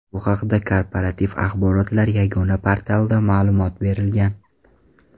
Bu haqda Korporativ axborotlar yagona portalida ma’lumot berilgan .